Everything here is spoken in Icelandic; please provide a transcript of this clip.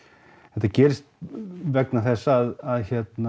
þetta gerist vegna þess að